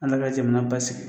Ala ka jamana basigi